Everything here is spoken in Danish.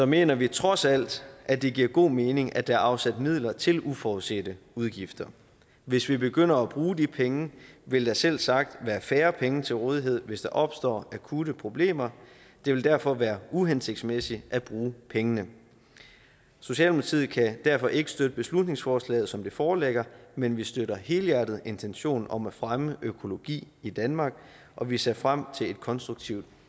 mener vi trods alt at det giver god mening at der er afsat midler til uforudsete udgifter hvis vi begynder at bruge de penge vil der selvsagt være færre penge til rådighed hvis der opstår akutte problemer det vil derfor være uhensigtsmæssigt at bruge pengene socialdemokratiet kan derfor ikke støtte beslutningsforslaget som det foreligger men vi støtter helhjertet intentionen om at fremme økologi i danmark og vi ser frem til et konstruktivt